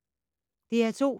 DR2